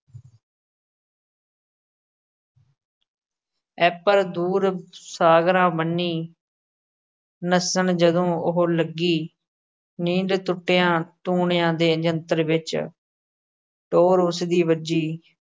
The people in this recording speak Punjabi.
ਐਪਰ ਦੂਰ ਸਾਗਰਾ ਬੰਨੀ ਨੱਸਣ ਜਦੋ ਓਹੋ ਲੱਗੀ। ਨੀਂਦ ਟੁੱਟਿਆ ਟੂਣਿਆ ਦੇ ਜੰਤਰ ਵਿੱਚ ਟੋਰ ਉਸ ਦੀ ਵੱਜੀ।